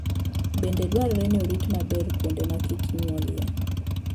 Bende dwarore ni orit maber kuonde ma kich nyuolie.